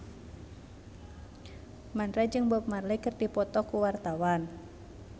Mandra jeung Bob Marley keur dipoto ku wartawan